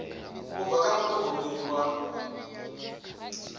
u bva kha muṱhogomeli wa